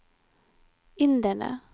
inderne